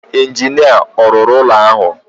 Injinia ọ̀ rụrụ ụlọ ahụ?